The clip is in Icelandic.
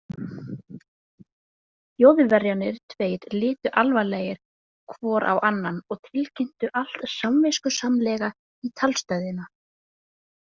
Þjóðverjarnir tveir litu alvarlegir hvor á annan og tilkynntu allt samviskusamlega í talstöðina.